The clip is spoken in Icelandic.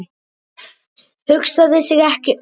Hugsaði sig ekki um!